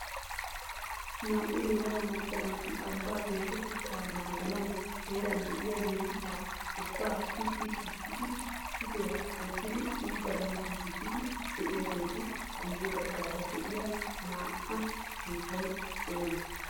Naa"u yelaga macca naati ambba geshshatetta naaganaw heeran de'iyaa miiriqqa ubba pitti shiishidi issi diran wottidi xooganaw giiggissidi de'iyaageetu guyye baggaara de'iyaa na'aa sunttay oomee?